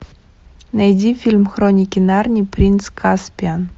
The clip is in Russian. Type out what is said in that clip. найди фильм хроники нарнии принц каспиан